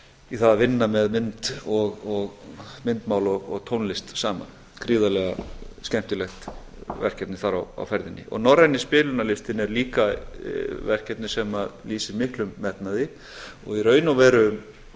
það að vinna með myndmál og tónlist saman gríðarlega skemmtilegt verkefni þar á ferðinni norræni spilunarlistinn er líka verkefni sem lýsir miklum metnaði og í raun og veru